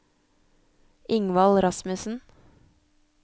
Ingvald Rasmussen